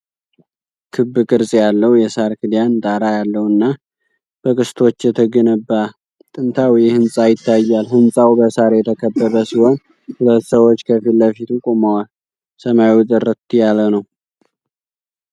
ክብ ቅርጽ ያለው፣ የሳር ክዳን ጣራ ያለውና በቅስቶች የተገነባ ጥንታዊ ሕንጻ ይታያል። ሕንጻው በሣር የተከበበ ሲሆን ሁለት ሰዎች ከፊት ለፊቱ ቆመዋል። ሰማዩ ጥርት ያለ ነው።